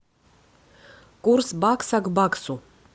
курс бакса к баксу